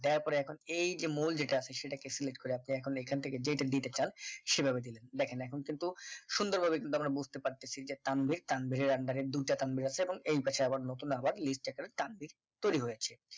দেওয়ার পরে এখন এই যে মূল যে মূল টা আছে সেটাকে select করে আপনি এখন এখান থেকে যেটা দিতে চান সেভাবে দিবেন দেখেন এখন কিন্তু সুন্দরভাবে কিন্তু আমরা বুঝতে পারতেছি যে তানভীর তানভীরের under এ দুইটা তানভীর আছে এবং এই পাশে আবার নতুন আবার একটা তানভীর তৈরি হয়েছে